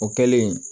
O kɛlen